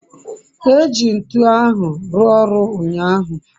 eji ntu ahu rua oru unyahu